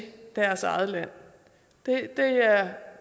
deres eget land